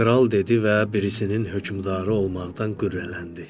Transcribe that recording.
Kral dedi və birisinin hökmdarı olmaqdan qürrələndi.